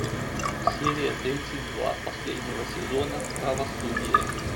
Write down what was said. серия тридцать два последнего сезона правосудие